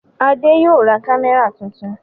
Adé yóò ra kámẹ́rà tuntun.